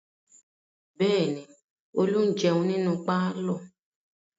Bẹ́ẹ̀ ni, Olú ń jẹun nínú pálọ̀.